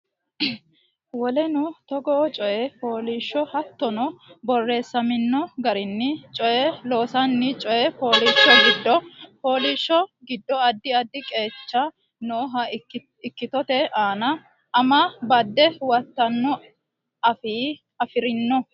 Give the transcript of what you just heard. Woleno togoo coy fooliishsho Hattonno borreessamino garinni coy loossanni coy fooliishsho giddo fooliishsho giddo addi addi qeecha nooha ikkitote anna ama badde huwattanno afi rinno.